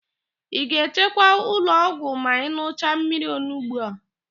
Ị ga-ejekwa ụlọọgwụ ma ị n̄ụcha mmiri ọnugbo a?